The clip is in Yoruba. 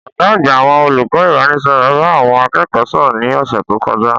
Ọ̀gá àgbà àwọn olùkọ́ ìbánisọ̀rọ̀ bá àwọn akẹ́kọ̀ọ́ sọ̀rọ̀ ní ọ̀sẹ̀ tó kọjá.